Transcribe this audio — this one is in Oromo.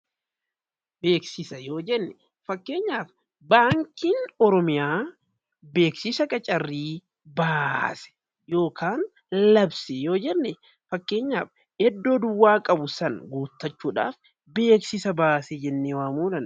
Beeksisa yoo jennu fakkeenyaaf baankiin Oromiyaa beeksisa qacarrii baase yookiin labse yoo jenne beeksisa jedhama.